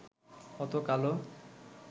অত কালো